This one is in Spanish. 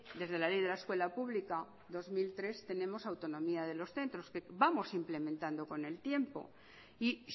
desde la ley de la escuela pública dos mil tres tenemos autonomía de los centros que vamos implementando con el tiempo y